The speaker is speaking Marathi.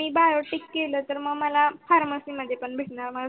ह ह ह